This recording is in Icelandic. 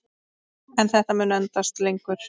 En þetta mun endast lengur.